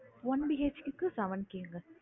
One BHK க்கு seven K ங்க